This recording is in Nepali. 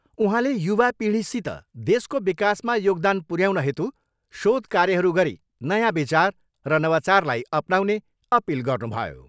उहाँले युवापिँढीसित देशको विकासमा योगदान पुऱ्याउन हेतु शोध कार्यहरू गरी नयाँ विचार र नवचारलाई अपनाउने अपिल गर्नुभयो।